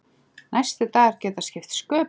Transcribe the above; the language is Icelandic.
Næstu dagar geta skipt sköpum.